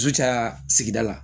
Su caya sigida la